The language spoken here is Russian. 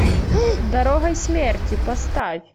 дорогой смерти поставь